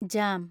jam